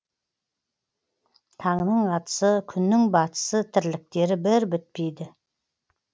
таңның атысы күннің батысы тірліктері бір бітпейді